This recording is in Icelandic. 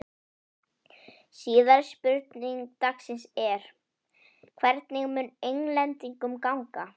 Síðari spurning dagsins er: Hvernig mun Englendingum ganga?